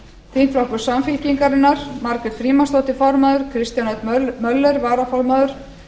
þingflokkur samfylkingarinnar margrét frímannsdóttir formaður kristján l möller varaformaður